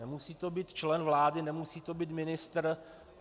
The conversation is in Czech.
Nemusí to být člen vlády, nemusí to být ministr.